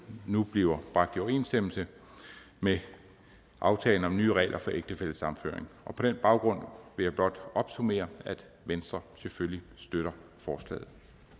nu bliver bragt i overensstemmelse med aftalen om nye regler for ægtefællesammenføring på den baggrund vil jeg blot opsummere at venstre selvfølgelig støtter forslaget